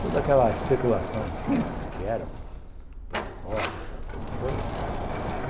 Toda aquela especulação em cima do que era o plano Collor, aquela coisa toda.